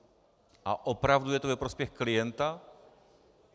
A opravdu je to ve prospěch klienta?